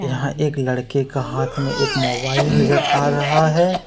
यहां एक लड़के का हाथ में एक मोबाइल नजर आ रहा है।